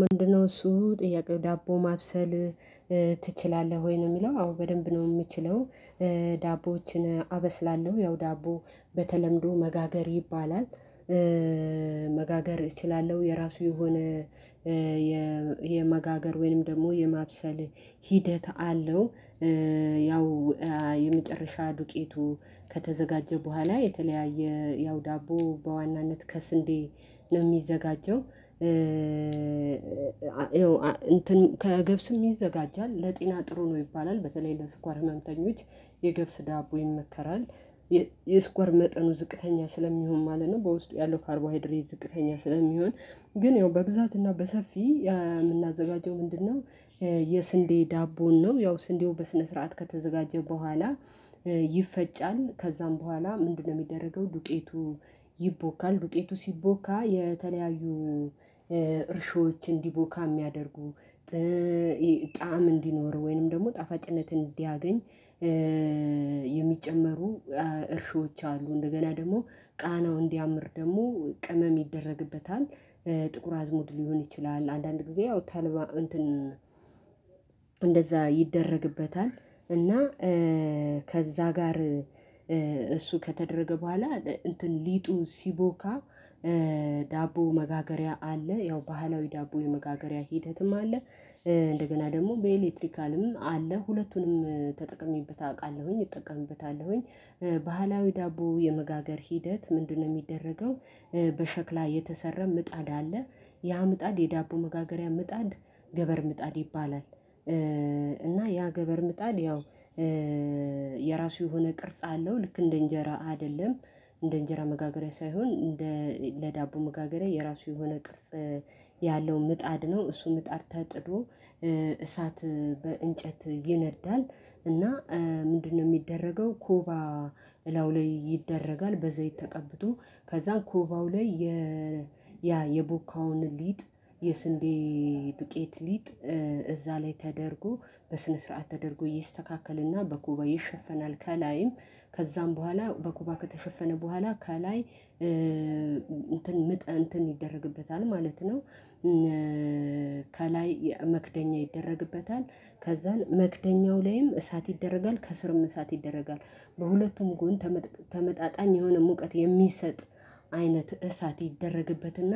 ምንድነው እሱ ጥያቄው ዳቦ ማብሰል ትችላለህ ወይ? ነው የሚለው አዎ! በደንብ ነው የምችለው ዳቦዎችን አበስላለሁ ያው ዳቦ በተለምዶ መጋገር ይባላል። መጋገር እችላለሁ የራሱ የሆነ የመጋገር ወይንም ደግሞ የማብሰል ሂደት አለው። ያው የመጨረሻ ዱቄቱ ከተዘጋጀ በኋላ የተለያየ ያው ዳቦ በዋናነት ከስንዴ ነው የሚዘጋጀው። እንትን ከገብስም ይዘጋጃል። ለጤና ጥሩ ነው ይባላል በተለይ ለስኳር ህመምተኞች የገብስ ዳቦ ይመከራል። የስኳር መጠኑ ዝቅተኛ ስለሚሆን ማለት ነው በውስጡ ያለው ካርቦሃይድሬ ዝቅተኛ ስለሚሆን ግን ያው በብዛትና በሰፊው የምናዘጋጀው ምንድነው የስንዴ ዳቦን ነው። ያው ስንዴው በስነ ስርዓት ከተዘጋጀ በኋላ ይፈጫል፣ ከዛም በኋላ ምንድነው የሚደረገው ዱቄቱ ይቦካል፣ ዱቄቱ ሲቦካ የተለያዩ እርሾዎች እንዲቦካ ሚያደርጉ ጣዕም እንዲኖር ወይንም ደግሞ ጣፋጭነትን እንዲያገኝ የሚጨመሩ እርሾዎች አሉ። እንደገና ደግሞ ቃናው እንዲያምር ደግሞ ቅመም ይደረግበታል። ጥቁር አዝሙድ ሊሆን ይችላል። አንዳንድ ጊዜ ያው ተልባ እንትን እንደዛ ይደረግበታል እና ከዛ ጋር እሱ ከተደረገ በኋላ እንትን ሊጡ ሲቦካ ዳቦ መጋገሪያ አለ። ያው ባህላዊ ዳቦ የመጋገሪያ ሂደትም አለ። እንደገና ደግሞ በኤሌክትሪካልም አለ። ሁለቱንም ተጠቅሜበት አውቃለሁኝ እጠቀምበታለሁኝ ባህላዊ ዳቦ የመጋገር ሂደት ምንድነው የሚደረገው በሸክላ የተሰረመ ምጣድ አለ ያ ምጣድ የዳቦ መጋገሪያ ምጣድ ገበር ምጣድ ይባላል። እና ያ ገበር ምጣል ያው የራሱ የሆነ ቅርጽ አለው ልክ እንደ እንጀራ አይደለም እንደ እንጀራ መጋገሪያ ሳይሆን እንደ ለዳቦ መጋገሬ የራሱ የሆነ ቅርጽ ያለው ምጣድ ነው እሱ ምጣድ ተጥዶ እሳት በእንጨት ይነዳል እና ምንድነው የሚደረገው ኮባ እላው ላይ ይደረጋል በዘይት ተቀብቶ። ከዛ ኮባው ላይ የ ያ የቡካውን ሊጥ የስንዴ ዱቄት ሊጥ እዛ ላይ ተደርጎ በስነ ስርዓት ተደርጎ ይስተካከልና በኮባ ይሸፈናል ከላይም ከዛም በኋላ በኮባ ከተሸፈነ በኋላ ከላይ እንትን ምጥ እንትን ይደረግበታል ማለት ነው። ከላይ መክደኛ ይደረግበታል ከዛ መክደኛው ላይም እሳት ይደረጋል፣ ከስርም እሳት ይደረጋል። በሁለቱም ጎን ተመጣጣኝ የሆነ ሙቀት የሚሰጥ አይነት እሳት ይደረግበትና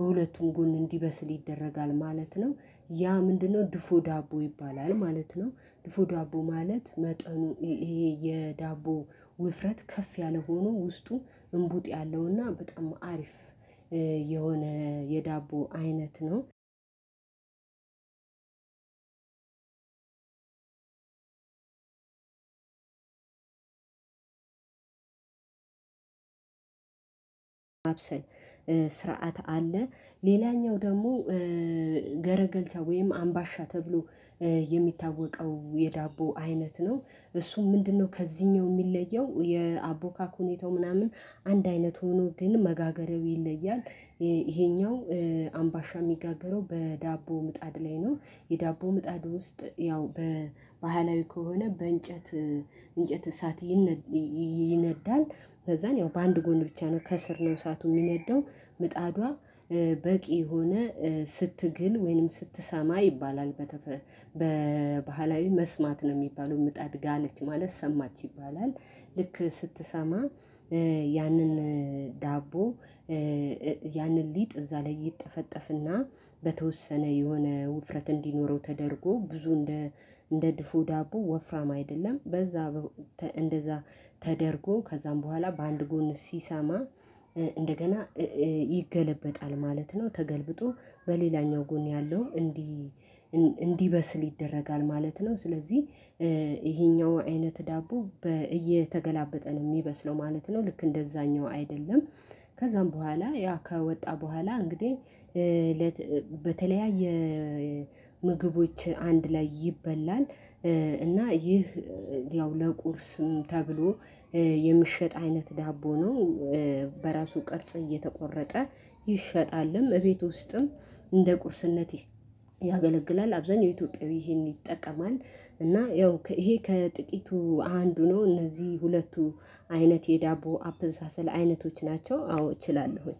በሁለቱም ጎን እንዲበስል ይደረጋል ማለት ነው። ያ ምንድነው ድፎ ዳቦ ይባላል ማለት ነው። ድፎ ዳቦ ማለት መጠኑ ይሄ የዳቦ ውፍረት ከፍ ያለ ሆኖ ውስጡ እምቡጥ ያለውና በጣም አሪፍ የሆነ የዳቦ አይነት ነው። ማብሰል ስርዓት አለ ሌላኛው ደግሞ ገረገልቻ ወይም አምባሻ ተብሎ የሚታወቀው የዳቦ አይነት ነው። እሱ ምንድነው ከዚህኛው የሚለየው የአቦካክ ሁኔታው ምናምን አንድ አይነት ሆኖ ግን መጋገሬው ይለያል። ይሄኛው አምባሻ የሚጋገረው በዳቦ ምጣድ ላይ ነው። የዳቦ ምጣዱ ውስጥ ያው በባህላዊ ከሆነ በእንጨት እንጨት እሳት ይነዳል ከዛን ያው በአንድ ጎን ብቻ ነው ከስር ነው እሳቱ የሚነዳው ምጣዷ በቂ የሆነ ስትግል ወይንም ስትሰማ ይባላል በተፈ በባህላዊ መስማት ነው የሚባለው ምጥድ ጋለች ማለት ሰማች ይባላል ልክ ስትሰማ ያንን ዳቦ ያንን ሊጥ እዛ ላይ ይጠፈጠፍና በተወሰነ የሆነ ውፍረት እንዲኖረው ተደርጎ ብዙ እንደ እንደ ድፎ ዳቦ ወፍራም አይደለም በዛ እንደዛ ተደርጎ ከዛም በኋላ በአንድ ጎን ሲሰማ እንደገና ይገለበጣል ማለት ነው። ተገልብጦ በሌላኛው ጎን ያለው እንዲህ እንዲበስል ይደረጋል ማለት ነው። ስለዚህ ይሄኛው አይነት ዳቦ እየተገላበጠ ነው የሚመስለው ማለት ነው ልክ እንደዛኛው አይደለም። ከዛም በኋላ ያ ከወጣ በኋላ እንግዲህ በተለያየ ምግቦች አንድ ላይ ይበላል። እና ይህ ያው ለቁርስም ተብሎ የሚሸጥ አይነት ዳቦ ነው። በራሱ ቅርጽ እየተቆረጠ ይሸጣልም፣ እቤት ውስጥም እንደ ቁርስነት ያገለግላል። አብዛኛው ኢትዮጵያዊ ይሄን ይጠቀማል እና ያው ከይሄ ከጥቂቱ አንዱ ነው። እነዚህ ሁለቱ አይነት የዳቦ አፕሳሰል አይነቶች ናቸው አዎ እችላለሁኝ።